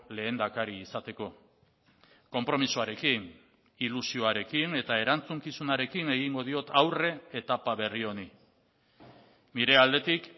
lehendakari izateko konpromisoarekin ilusioarekin eta erantzukizunarekin egingo diot aurre etapa berri honi nire aldetik